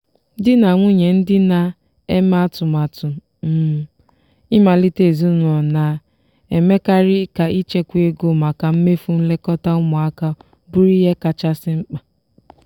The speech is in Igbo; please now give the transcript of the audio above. di na nwunye ndị na-eme atụmatụ um ịmalite ezinụlọ na-emekarị ka ichekwa ego maka mmefu nlekọta ụmụaka bụrụ ihe kachasị mkpa.